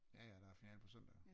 Jaja der er finale på søndag jo